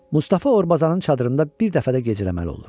Mustafa Orbazanın çadırında bir dəfə də gecələməli olur.